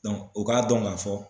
o k'a dɔn k'a fɔ